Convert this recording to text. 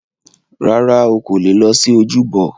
Rárá,o kò leè lọ sí ojúbọ.